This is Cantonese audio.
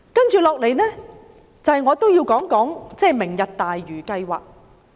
接下來，我也要談談"明日大嶼"計劃。